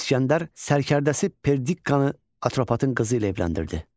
İsgəndər sərkərdəsi Perdikkkanı Atropatın qızı ilə evləndirdi.